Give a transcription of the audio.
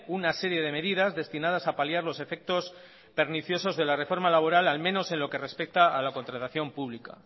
una serie de medidas destinadas a paliar los efectos perniciosos de la reforma labora al menos en lo que respecta a la contratación pública